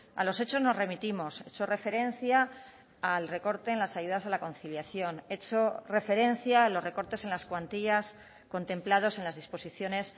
a los hechos nos remitimos he hecho referencia al recorte en las ayudas a la conciliación he hecho referencia a los recortes en las cuantías contemplados en las disposiciones